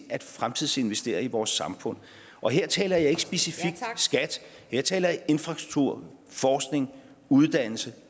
at fremtidsinvestere i vores samfund og her taler jeg ikke specifikt om skat jeg taler om infrastruktur forskning uddannelse